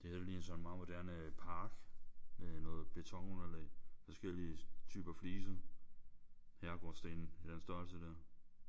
Det her det ligner sådan en meget moderne øh park med noget betonunderlag. Forskellige typer fliser. Herregårdssten i den størrelse der